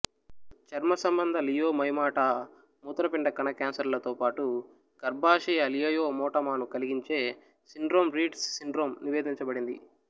చర్మసంబంధ leiomyomata మూత్రపిండ కణ క్యాన్సర్లతో పాటు గర్భాశయ లియోయోమోటమాను కలిగించే సిండ్రోమ్ రీడ్స్ సిండ్రోమ్ నివేదించబడింది